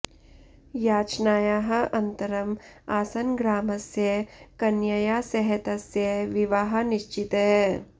याचनायाः अन्तरम् आसन् ग्रामस्य कन्यया सह तस्य विवाहः निश्चितः